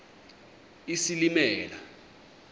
isilimela